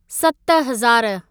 सत हज़ारु